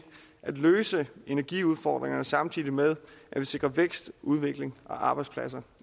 at løse energiudfordringerne samtidig med at vi sikrer vækst udvikling og arbejdspladser